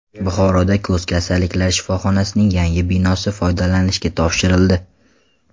Buxoroda ko‘z kasalliklari shifoxonasining yangi binosi foydalanishga topshirildi.